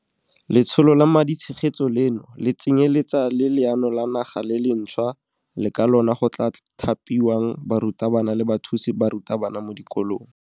Letsholo la maditshegetso leno le tsenyeletsa le leano la naga le lentšhwa le ka lona go tla thapiwang barutabana le bathusi ba barutabana mo dikolong.